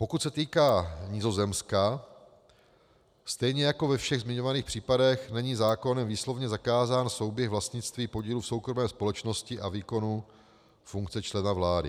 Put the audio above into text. Pokud se týká Nizozemska, stejně jako ve všech zmiňovaných případech není zákonem výslovně zakázán souběh vlastnictví podílu v soukromé společnosti a výkonu funkce člena vlády.